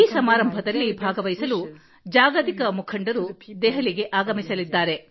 ಈ ಸಮಾರಂಭದಲ್ಲಿ ಭಾಗವಹಿಸಲು ಜಾಗತಿಕ ಮುಖಂಡರು ನವದೆಹಲಿಗೆ ಆಗಮಿಸಲಿದ್ದಾರೆ